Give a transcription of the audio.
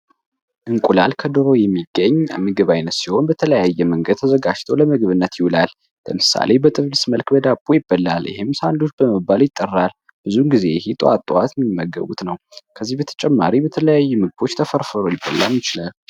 እንቁላል ከዶሮ የሚገኝ ምግብ ሲሆን በተለያየ መንገድ ተዘጋጅቶ ለምግብነት ይውላል። ለምሳሌ በጥብስ መልክ ከዳቦ ጋር ይበላል ይህም ሳንዱች ተብሎ ይጠራል። ብዙውን ጊዜ ጥዋት ጥዋት የሚመገቡት ነው። ከዚህ በተጨማሪ በተለያዩ ምግቦች ተፈርፍሮ ሊበላ ይችላል።